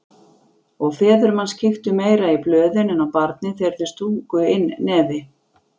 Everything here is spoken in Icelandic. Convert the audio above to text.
Og feður manns kíktu meira í blöðin en á barnið þegar þeir stungu inn nefi.